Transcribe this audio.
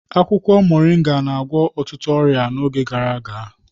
Akwụkwọ Moringa na-agwọ ọtụtụ ọrịa n'oge gara aga.